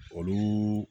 Olu